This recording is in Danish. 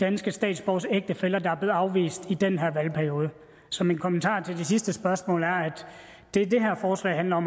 danske statsborgeres ægtefæller der er blevet afvist i den her valgperiode så min kommentar til det sidste spørgsmål er at det det her forslag handler om